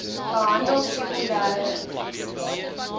behandel sekondere infeksies